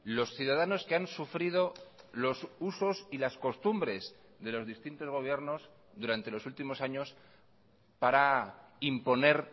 los ciudadanos que han sufrido los usos y las costumbres de los distintos gobiernos durante los últimos años para imponer